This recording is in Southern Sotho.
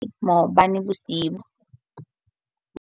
Ke o lorile maobane bosiu.